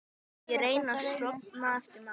Ég reyni að sofna eftir matinn.